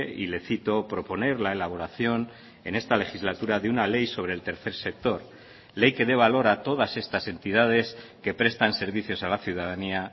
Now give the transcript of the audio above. y le cito proponer la elaboración en esta legislatura de una ley sobre el tercer sector ley que dé valor a todas estas entidades que prestan servicios a la ciudadanía